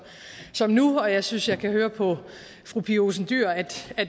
som nu og jeg synes jeg kan høre på fru pia olsen dyhr at